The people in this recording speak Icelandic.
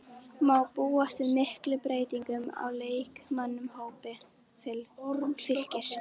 Má búast við miklum breytingum á leikmannahópi Fylkis?